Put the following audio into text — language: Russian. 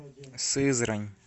сызрань